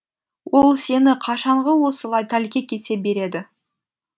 ол сені қашанғы осылай тәлкек ете береді